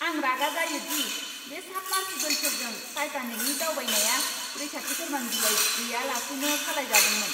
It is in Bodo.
आं रागा जायो दि बे साबमार्सिबोलफोरजों टाइटानिकनि दावबायनाया रैखाथि फोरमान बिलाइ गैयालासेनो सालायजादोंमोन।